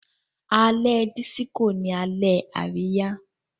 Alẹ́ disco ní Alẹ́ Àríyá.